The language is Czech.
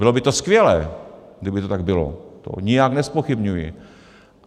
Bylo by to skvělé, kdyby to tak bylo, to nijak nezpochybňuji.